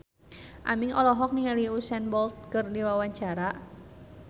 Aming olohok ningali Usain Bolt keur diwawancara